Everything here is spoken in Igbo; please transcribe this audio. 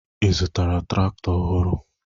Ị zụtara traktọ ọhụrụ?